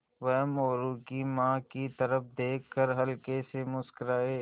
वह मोरू की माँ की तरफ़ देख कर हल्के से मुस्कराये